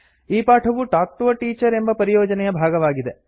ಈ ಪಾಠವು talk to a teacher ಎಂಬ ಪರಿಯೋಜನೆಯ ಭಾಗವಾಗಿದೆ